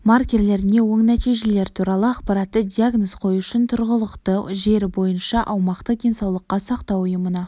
маркерлеріне оң нәтижелер туралы ақпаратты диагноз қою үшін тұрғылықты жері бойынша аумақтық денсаулық сақтау ұйымына